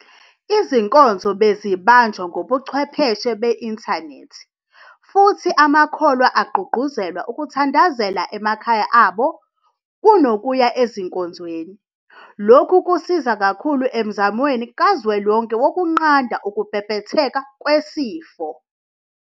Izinkonzo bezibanjwa ngobuchwepheshe beinthanethi futhi amakholwa agqugquzelwa ukuthandazela emakhaya abo kuno kuya ezinkonzweni. Lokhu kusize kakhulu emzamweni kazwelonke wokunqanda ukubhebhetheka kwesifo.